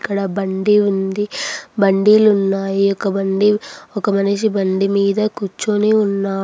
ఇక్కడ బండి ఉంది . బండీలున్నాయి. ఒక బండి ఒక మనిషి బండి మీద కూర్చొని ఉన్న--